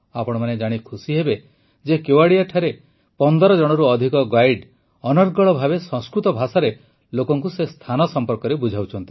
ଆପଣମାନେ ଜାଣି ଖୁସି ହେବେ ଯେ କେୱଡ଼ିଆଠାରେ ୧୫ ଜଣରୁ ଅଧିକ ଗାଇଡ୍ ଅନର୍ଗଳ ଭାବେ ସଂସ୍କୃତ ଭାଷାରେ ଲୋକଙ୍କୁ ସେ ସ୍ଥାନ ସମ୍ପର୍କରେ ବୁଝାଉଛନ୍ତି